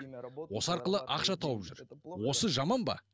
осы арқылы ақша тауып жүр осы жаман ба